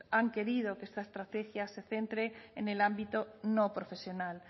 han querido que esta estrategia se centre en el ámbito no profesional